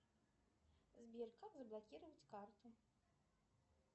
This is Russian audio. сбер как заблокировать карту